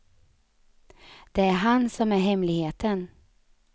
Det är han som är hemligheten.